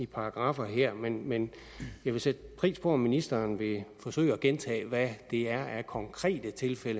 paragraffer her men men jeg vil sætte pris på om ministeren vil forsøge at gentage hvad det er af konkrete tiltag